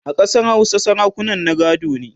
a Ƙasar Hausa sarakunan na gado ne